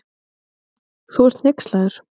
Þú ert hneykslaður.